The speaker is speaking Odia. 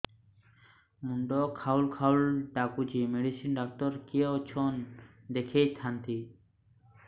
ମୁଣ୍ଡ ଖାଉଲ୍ ଖାଉଲ୍ ଡାକୁଚି ମେଡିସିନ ଡାକ୍ତର କିଏ ଅଛନ୍ ଦେଖେଇ ଥାନ୍ତି